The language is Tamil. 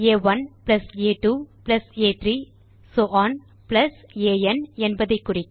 ஆ1 ஆ2 ஆ3 சோ ஒன் ஆன் என்பதை குறிக்க